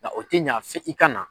Nka o tɛ ɲa f'i ka na.